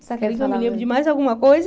Você quer que eu me lembre de mais alguma coisa?